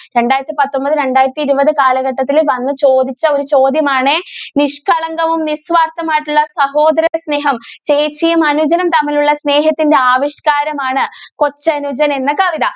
രണ്ടായിരത്തി പത്തൊമ്പതു രണ്ടായിരത്തി ഇരുപതു കാലഘട്ടത്തിൽ വന്നു ചോദിച്ച ഒരു ചോദ്യം ആണേ നിഷ്കളങ്കവും നിസ്വാർത്ഥവും ആയിട്ടുള്ള സഹോദര സ്നേഹം ചേച്ചിയും അനുജനും തമ്മിലുള്ള സ്നേഹത്തിന്റെ ആവിഷ്കാരം ആണ് കൊച്ചനുജൻ എന്ന കവിത.